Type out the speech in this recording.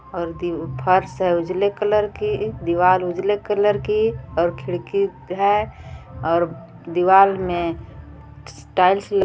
और दी फर्स है उजले कलर की दीवार उजले कलर की और खिड़की है और दीवाल में टाइल्स ल--